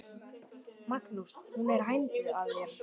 Magnús: Hún er hænd að þér?